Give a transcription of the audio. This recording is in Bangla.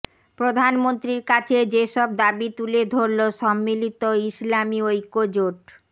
প্রধানমন্ত্রীর কাছে যেসব দাবি তুলে ধরল সম্মিলিত ইসলামি ঐক্যজোট